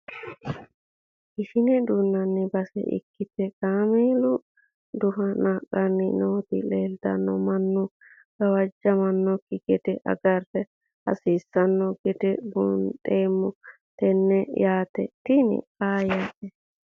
ishine duunnanni base ikkite kaameelu duhe naqanni nooti leeltanno mannu gawajjamannoiki gede agara hasiissanno gede buunxeemmo tennenne yaate tini faayate